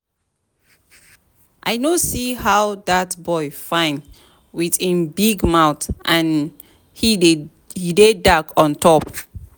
I no see how dat boy fine with him big mouth and he dey dark on top